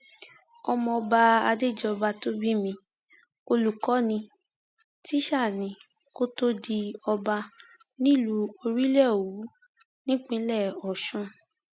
ọmọọba adéjọba tó bi mí olùkọ ní tísà ni kó tóó di ọba nílùú orílẹòwú nípínlẹ ọsùn